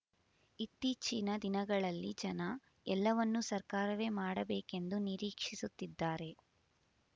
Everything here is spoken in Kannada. ಇತ್ತೀಚಿನ ದಿನಗಳಲ್ಲಿ ಜನ ಎಲ್ಲವನ್ನೂ ಸರ್ಕಾರವೇ ಮಾಡಬೇಕೆಂದು ನಿರೀಕ್ಷಿಸುತ್ತಿದ್ದಾರೆ